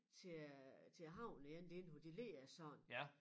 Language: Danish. Til øh til æ havn igen det inde på de ligger sådan